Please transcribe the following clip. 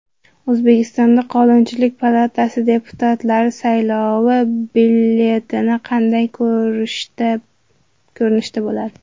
O‘zbekistonda Qonunchilik palatasi deputatlari saylovi byulleteni qanday ko‘rinishda bo‘ladi?.